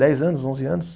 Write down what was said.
Dez anos, onze anos?